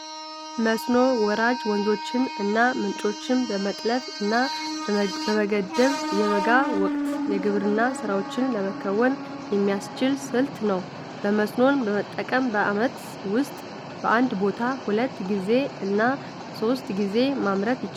መስኖ ወራጅ ወንዞችን እና ምንጮችን በመጥለፍ እና በመገደብ የበጋ ወቅት የግብርና ስራዎችን ለመከወን የሚያስችል ስልት ነው። መስኖን በመጠቀም በአመት ውጥ በአንድ ቦታ ሁለት ጊዜ እና ሶስት ጊዜ ማምረት ይቻላል።